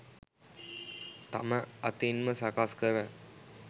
තම අතින්ම සකස් කර